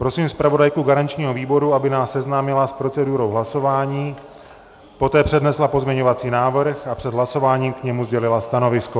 Prosím zpravodajku garančního výboru, aby nás seznámila s procedurou hlasování, poté přednesla pozměňovací návrh a před hlasováním k němu sdělila stanovisko.